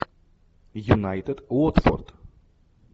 юнайтед уотфорд